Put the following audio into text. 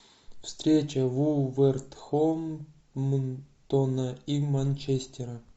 встреча вулверхэмптона и манчестера